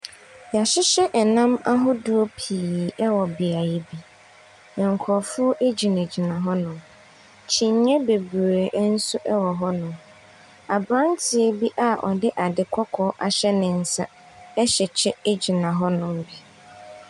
Wɔahyehyɛ nnam ahodoɔ pii wɔ beaeɛ bi, na nkurɔfoɔ gyinagyina hɔnom. Kyiniiɛ bebree nso wɔ hɔnom. Aberanteɛ bi a ɔde ade kɔkɔɔ ahyɛ ne nsa hyɛ kyɛ gyina hɔnom bi.